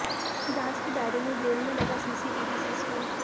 जांच के दायरे में जेल में लगा सीसीटीवी सिस्टम